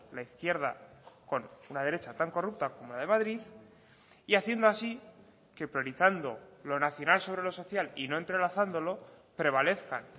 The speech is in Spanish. la izquierda con una derecha tan corrupta como la de madrid y haciendo así que priorizando lo nacional sobre lo social y no entrelazándolo prevalezcan